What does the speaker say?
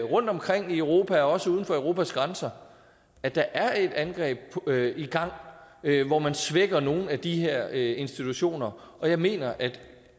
rundtomkring i europa og også uden for europas grænser at der er et angreb i gang hvor man svækker nogle af de her institutioner og jeg mener at